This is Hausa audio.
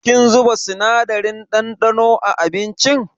Kin zuba sinadarin ɗanɗano a abincin?